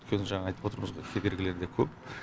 өйткені жаңа айтып отырмыз ғой кедергілер де көп